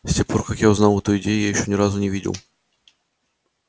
с тех пор как я узнал эту идею я ещё ни разу не видел